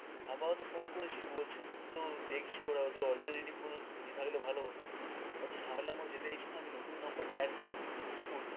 আপাতত phone করেছি বলছে তো দেখছে ওরা, ওদের alternative কোন ইয়ে থাকলে ভালো হতো. অত ঝামেলার মধ্যে যেতে চাইছি না আমি নতুন number add করব তো কী করতে